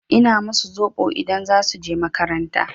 Ina musu zoɓo idan za su je makaranta.